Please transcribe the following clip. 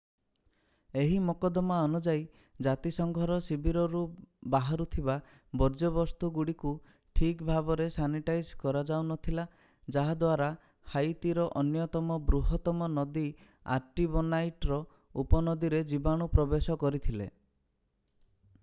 ଏହି ମକଦ୍ଦମା ଅନୁଯାୟୀ ଜାତିସଂଘର ଶିବିରରୁ ବାହାରୁଥିବା ବର୍ଜ୍ୟବସ୍ତୁଗୁଡ଼ିକୁ ଠିକ୍ ଭାବରେ ସାନିଟାଇଜ୍ କରାଯାଉନଥିଲା ଯାହାଦ୍ଵାରା ହାଇତିର ଅନ୍ୟତମ ବୃହତ୍ତମ ନଦୀ ଆର୍ଟିବୋନାଇଟ୍‌ର ଉପନଦୀରେ ବୀଜାଣୁ ପ୍ରବେଶ କରିଥିଲେ।